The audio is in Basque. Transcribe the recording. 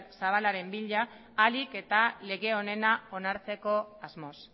zabalaren bila ahalik eta lege onena onartzeko asmoz